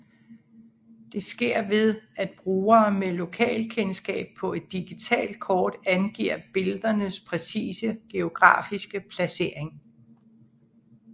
Det sker ved at brugere med lokalkendskab på et digitalt kort angiver billedernes præcise geografiske placering